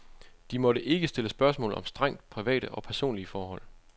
De måtte ikke stille spørgsmål om strengt private og personlige forhold.